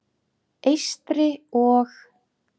Eystri- og